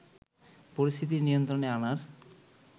পরিস্থিতি নিয়ন্ত্রণে আনার